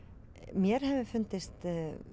mér hefur fundist